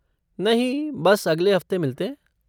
नहीं बस, अगले हफ़्ते मिलते हैं।